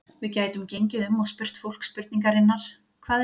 Við gætum gengið um og spurt fólk spurningarinnar: Hvað er hugrekki?